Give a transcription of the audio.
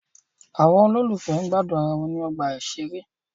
Àwọn olólùfẹ́ gbádùn ara wọn ní ọgbà ìṣeré.